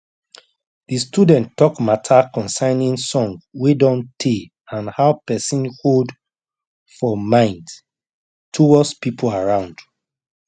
de student talk matta concerning song wey don tay and how person hold for mind towards pipo around